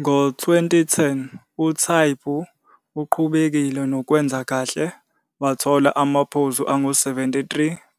Ngo-2010 uTaibu uqhubekile nokwenza kahle wathola amaphuzu angu-73